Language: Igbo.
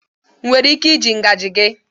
Enwere m ike iji ngaji gị?